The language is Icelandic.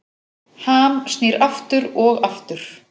Ham snýr aftur og aftur